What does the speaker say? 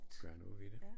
Gøre noget ved det